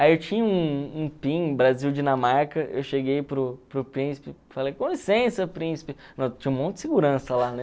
Aí eu tinha um um pin Brasil-Dinamarca, eu cheguei para o para o príncipe, falei, com licença, príncipe tinha um monte de segurança lá, né?